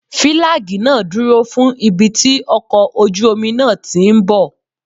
Fílágì náà dúró fún ibi tí ọkọ̀ ojú omi náà tíì bọ̀.